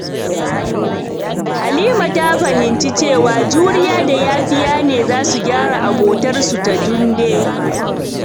Halima ta fahimci cewa juriya da yafiya ne za su gyara abotarsu da Tunde.